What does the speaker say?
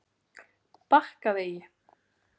Bakkavegi